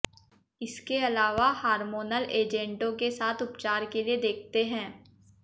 इसके अलावा हार्मोनल एजेंटों के साथ उपचार के लिए देखते हैं